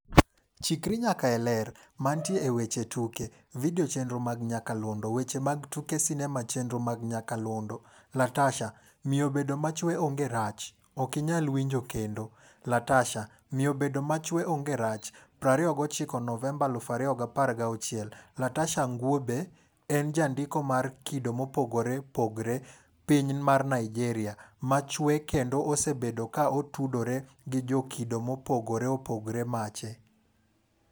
Chikri nyaka e Ler. Mantie e weche tuke. Video chenro mag nyakalondo. Weche mag tuke sinema chenro mag nyakalondo. Latasha: Miyo bedo machwe onge rach. ok inyal winjo kendo. Latasha: Miyo bedo machwe onge rach, 29 Novemba 2016 .Latasha Ngwube, en jandiko mar kido mopogore opgoree piny mar Nigeria, ma chwe kendo osebedo ka otudore gijokido mopogore opogore mache.